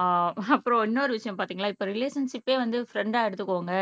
ஆஹ் அப்புறம் இன்னொரு விஷயம் பாத்தீங்களா இப்ப ரிலேஷன்ஷிப்பே வந்து ஃப்ரண்டா எடுத்துக்கோங்க